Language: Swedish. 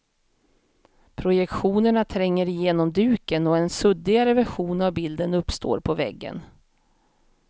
Projektionerna tränger igenom duken, och en suddigare version av bilden uppstår på väggen.